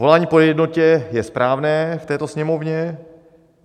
Volání po jednotě je správné v této Sněmovně.